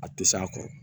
A tɛ s'a kɔrɔ